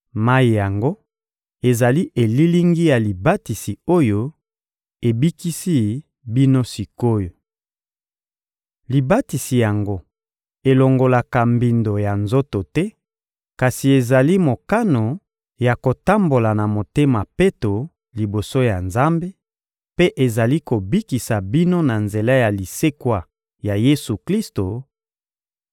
Mayi yango ezali elilingi ya libatisi oyo ebikisi bino sik’oyo. Libatisi yango elongolaka mbindo ya nzoto te, kasi ezali mokano ya kotambola na motema peto liboso ya Nzambe; mpe ezali kobikisa bino na nzela ya lisekwa ya Yesu-Klisto